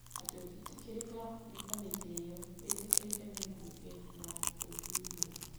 Atĩ ũngĩthuurwo nĩ kamĩtĩ ĩno, wĩtĩkĩrĩke nĩ mbunge na ũthuurwo,